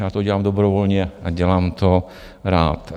Já to dělám dobrovolně a dělám to rád.